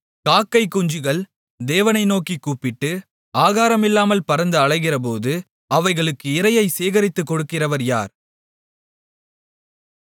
காக்கைக்குஞ்சுகள் தேவனை நோக்கிக் கூப்பிட்டு ஆகாரமில்லாமல் பறந்து அலைகிறபோது அவைகளுக்கு இரையைச் சேகரித்துக் கொடுக்கிறவர் யார்